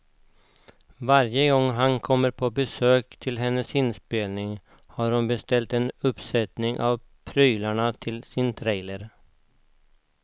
Varje gång han kommer på besök till hennes inspelning har hon beställt en uppsättning av prylarna till sin trailer.